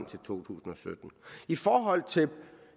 to tusind og sytten i forhold til